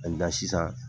sisan